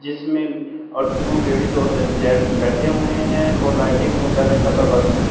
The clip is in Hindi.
जिसमें और टू लेडीज़ और एक जेंट्स बैठे हुए हैं और लाइटिंग वेगेरा का प्रबंध हैं।